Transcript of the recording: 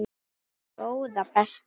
Góða besta!